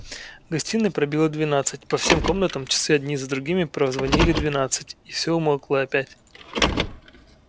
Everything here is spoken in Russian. в гостиной пробило двенадцать по всем комнатам часы одни за другими прозвонили двенадцать и всё умолкло опять